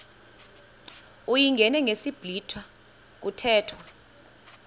uyingene ngesiblwitha kuthethwa